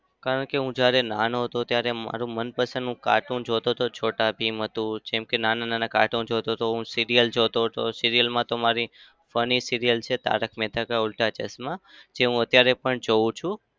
કારણ કે હું જ્યારે નાનો હતો ત્યારે મારું મનપસંદનું cartoon જોતો હતો. છોટા ભીમ હતું. જેમ કે નાના-નાના cartoon જોતો હતો હું. serial જોતો હતો. serial માં તો મારી funny serial છે તારક મહેતા કા ઉલટા ચશ્મા જે હું અત્યારે પણ જોઉં છું.